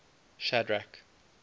shadrack